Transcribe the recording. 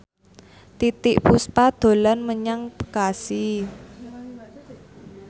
Titiek Puspa dolan menyang Bekasi